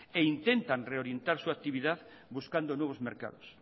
e intentan reorientar su actividad buscando nuevos mercados